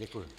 Děkuji.